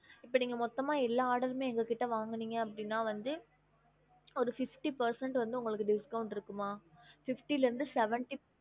இப்ப நீங்க மொத்தம்மா எல்லா order மே எங்க கிட்ட வாங்குனிங்க அப்டினா வந்து ஒரு fifty percent வந்து உங்களுக்கு discount இருக்குமா fifty ல இருந்து seventy